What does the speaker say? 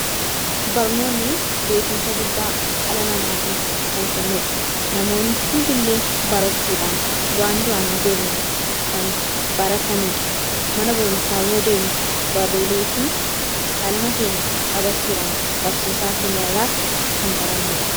Barnoonni beekumsa guddaa dhala namaatiif kan kennuudha. Namoonni hundi illee barachuudhaan waan duraan hin beegne kan barataniidha mana barumsaa yoo deemu baroolee fi qalama keenya qabachuudhaan barsiisaa keenya irraas kan barannuudha.